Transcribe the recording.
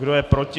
Kdo je proti?